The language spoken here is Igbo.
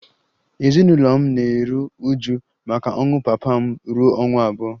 Ezinụlọ m dum na-eru uju maka ọnwụ papa m ruo ọnwa abụọ